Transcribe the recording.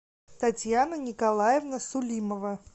татьяна николаевна сулимова